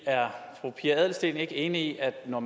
er fru pia adelsteen ikke enig i at når